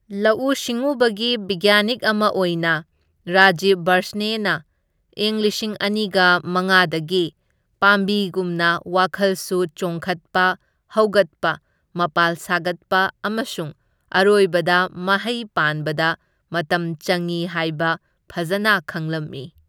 ꯂꯧꯎ ꯁꯤꯡꯎꯕꯒꯤ ꯕꯤꯒ꯭ꯌꯥꯟꯅꯤꯛ ꯑꯃ ꯑꯣꯏꯅ ꯔꯥꯖꯤꯕ ꯕꯥꯔꯁꯅꯦꯅ ꯢꯪ ꯂꯤꯁꯤꯡ ꯑꯅꯤꯒ ꯃꯉꯥꯗꯒꯤ ꯄꯥꯝꯕꯤꯒꯨꯝꯅ ꯋꯥꯈꯜꯁꯨ ꯆꯣꯡꯈꯠꯄ, ꯍꯧꯒꯠꯄ, ꯃꯄꯥꯜ ꯁꯥꯒꯠꯄ ꯑꯃꯁꯨꯡ ꯑꯔꯣꯏꯕꯗ ꯃꯍꯩ ꯄꯥꯟꯕꯗ ꯃꯇꯝ ꯆꯪꯢ ꯍꯥꯏꯕ ꯐꯖꯅ ꯈꯪꯂꯝꯃꯤ꯫